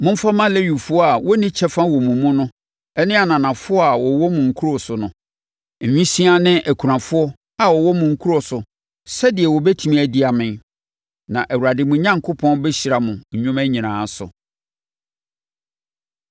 Momfa mma Lewifoɔ a wɔnni kyɛfa wɔ mo mu no ne ananafoɔ a wɔwɔ mo nkuro so no, nwisiaa ne akunafoɔ a wɔwɔ mo nkuro so sɛdeɛ wɔbɛtumi adidi amee. Na Awurade, mo Onyankopɔn, bɛhyira mo nnwuma nyinaa so.